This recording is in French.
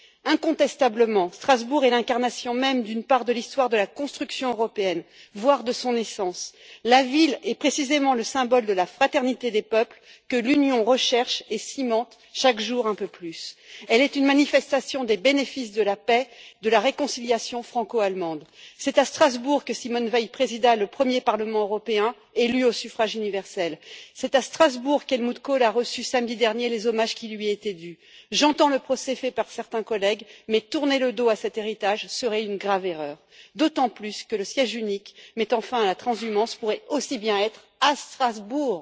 Incontestablement, Strasbourg est l'incarnation même d'une part de l'histoire de la construction européenne, voire de son essence. La ville est précisément le symbole de la fraternité des peuples que l'Union recherche et cimente chaque jour un peu plus. Elle est une manifestation des bénéfices de la paix, de la réconciliation franco allemande. C'est à Strasbourg que Simone Veil présida le premier Parlement européen élu au suffrage universel. C'est à Strasbourg qu'Helmut Kohl a reçu, samedi dernier, les hommages qui lui étaient dus. J'entends le procès fait par certains collègues, mais tourner le dos à cet héritage serait une grave erreur, d'autant plus que le siège unique qui mettrait fin à la transhumance pourrait aussi bien être à Strasbourg.